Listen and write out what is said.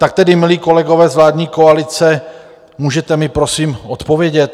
Tak tedy, milí kolegové, z vládní koalice, můžete mi prosím odpovědět?